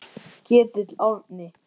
Ketill Árni.